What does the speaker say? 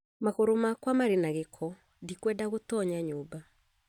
Magũrũ makwa marĩ na gĩko ndikwenda gũtoonya nyũmba